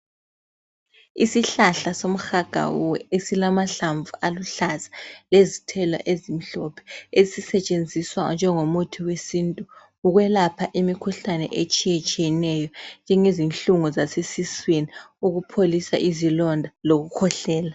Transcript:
Isihlahla somhagawuwe esilamahlamvu aluhlaza lezithelo ezimhlophe esisetshenziswa njengomuthi wesintu ukwelapha imikhuhlane etshiyetshiyeneyo njengezinhlungu zasesiswini, ukupholisa izilonda lokukhwehlela.